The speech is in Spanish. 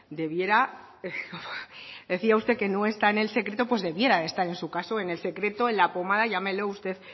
debiera decía usted que no está en el secreto pues debiera de estar en su caso en el secreto en la pomada llámelo usted